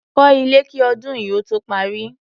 Kọ́ ilé kí ọdún yìí ó tó parí.